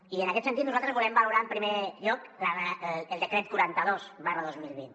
i en aquest sentit nosaltres volem valorar en primer lloc el decret quaranta dos dos mil vint